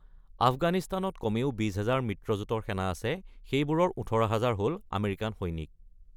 আফগানিস্তানত কমেও ২০ হাজাৰ মিত্ৰজোঁটৰ সেনা আছে; সেইবোৰৰ ১৮ হাজাৰ হ'ল আমেৰিকান সৈনিক।